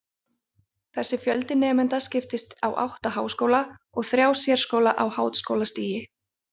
Þessi fjöldi nemenda skiptist á átta háskóla og þrjá sérskóla á háskólastigi.